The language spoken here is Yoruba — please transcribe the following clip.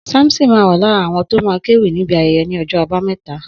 Samson ma wà lára àwọn tó ma kéwì níbi ayẹyẹ ní ọjọ́ àbámẹ́ta.